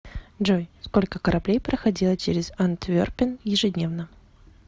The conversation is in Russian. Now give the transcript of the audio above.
джой сколько кораблей проходило через антверпен ежедневно